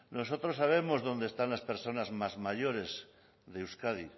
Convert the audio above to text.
nosotros sabemos dónde están las personas más mayores de euskadi